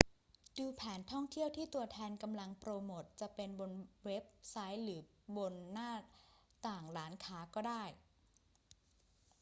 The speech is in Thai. ดูแผนท่องเที่ยวที่ตัวแทนกำลังโปรโมทจะเป็นบนเว็บไซต์หรือบนหน้าต่างร้านค้าก็ได้